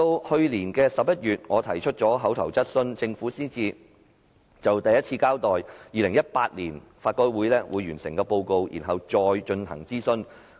去年11月，我提出口頭質詢，政府才首次交代法改會將於2018年完成報告，然後進行諮詢。